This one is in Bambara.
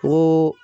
Ko